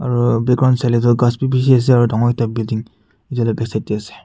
Aru background sai le toh ghas bishi ase aro dangor ekta building itu laga back side te ase.